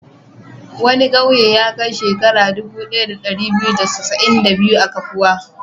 Wani ƙauye ya kai shekaru dubu ɗaya da ɗari biyu da casa'in da biyu a kafuwa.